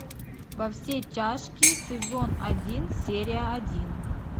во все тяжкие сезон один серия один